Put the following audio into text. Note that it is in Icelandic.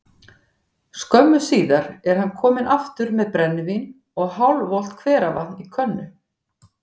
Skömmu síðar er hann kominn aftur með brennivín og hálfvolgt hveravatn í könnu.